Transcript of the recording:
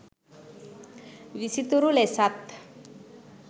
විසිතුරු ලෙසත්